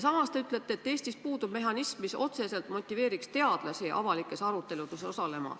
Samas te ütlete, et Eestis puudub mehhanism, mis otseselt motiveeriks teadlasi avalikes aruteludes osalema.